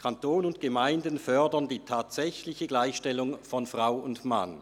«Kanton und Gemeinden fördern die tatsächliche Gleichstellung von Mann und Frau.